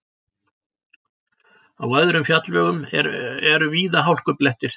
Á öðrum fjallvegum eru víða hálkublettir